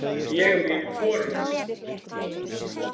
Ég vil hvorugt.